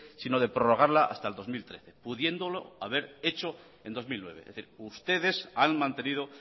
sino de prorrogarla hasta el dos mil trece pudiéndolo haber hecho en dos mil nueve es decir ustedes han mantenido